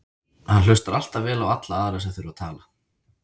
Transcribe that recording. Hann hlustar alltaf vel á alla aðra sem þurfa að tala.